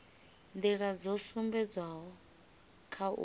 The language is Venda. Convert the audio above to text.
nḓila dzo sumbedzwaho kha uyu